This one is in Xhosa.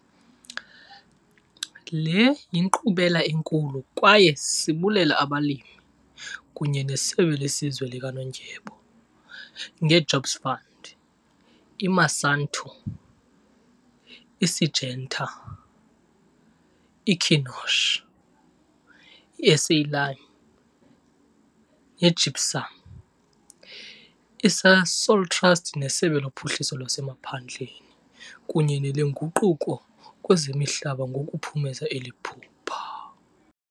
Le yinkqubela enkulu kwaye sibulela abalimi kunye neSebe leSizwe likaNondyebo, ngeJobs Fund, iMonsanto, iSyngenta, iKynoch, iSA Lime neGypsum, iSasol Trust neSebe loPhuhliso laseMaphandleni kunye neleNguquko kwezeMihlaba ngokuphumeza eli phupha.